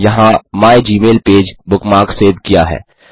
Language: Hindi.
यहाँ माइगमेलपेज बुकमार्क सेव किया है